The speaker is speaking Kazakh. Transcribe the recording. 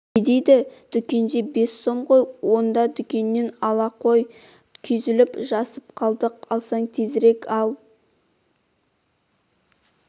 не дейді дүкенде бес сом ғой онда дүкеннен ал қойшы күйзеліп жасып қалды алсаң тезрек ал